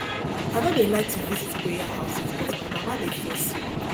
i no dey like to visit prayer houses but my mama dey force me